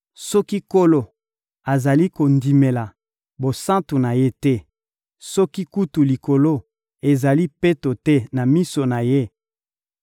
Soki Nkolo azali kondimela basantu na Ye te, soki kutu likolo ezali peto te na miso na Ye,